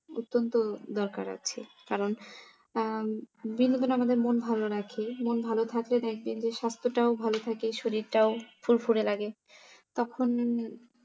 অত্যন্ত দরকার আছে কারণ আম বিনোদন আমাদের মন ভালো রাখে মন ভালো থাকলে দেখবেন যে স্বাস্থ্যটাও ভালো থাকে শরীরটাও ফুরফুরে লাগে তখন